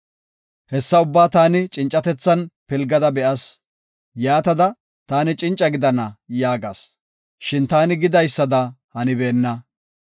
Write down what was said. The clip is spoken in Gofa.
Hessa ubbaa taani cincatethan pilgada be7as. Yaatada, “Taani cinca gidana” yaagas. Shin taani gidaysada hanibeenna.